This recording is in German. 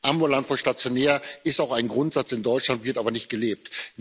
Ambulant vor stationär ist auch ein Grundsatz in Deutschland, wird aber nicht gelebt.